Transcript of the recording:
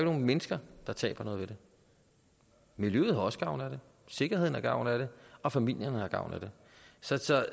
nogen mennesker der taber noget ved det miljøet har også gavn af det sikkerheden har gavn af det og familierne har gavn af det så